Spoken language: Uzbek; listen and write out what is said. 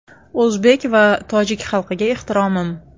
O‘zbek va tojik xalqiga ehtiromim!